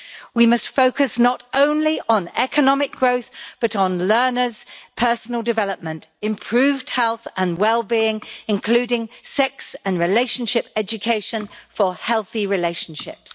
We must focus not only on economic growth, but on learners' personal development, improved health and well being, including sex and relationship education for healthy relationships.